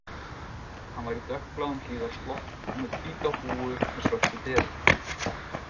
Hann var í dökkbláum hlífðarslopp og með hvíta húfu með svörtu deri